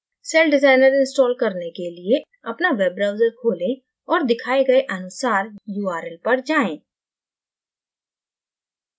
celldesigner install करने के लिए अपना web browser खोलें और दिखाए गए अनुसार url पर जाएँ